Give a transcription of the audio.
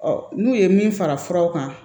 n'u ye min fara furaw kan